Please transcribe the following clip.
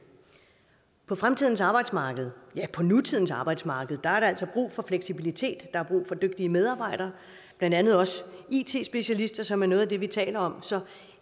på fremtidens arbejdsmarked ja på nutidens arbejdsmarked er der altså brug for fleksibilitet og dygtige medarbejdere blandt andet også it specialister som er noget af det vi taler om så et